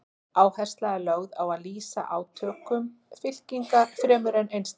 Áhersla er lögð á að lýsa átökum fylkinga fremur en einstaklingum.